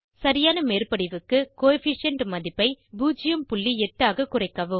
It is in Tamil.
சரியான மேற்படிவுக்கு கோஎஃபிஷியன்ட் மதிப்பை 08 ஆக குறைக்கவும்